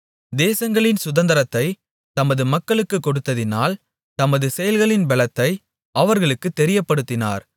தேசங்களின் சுதந்தரத்தைத் தமது மக்களுக்குக் கொடுத்ததினால் தமது செயல்களின் பெலத்தை அவர்களுக்குத் தெரியப்படுத்தினார்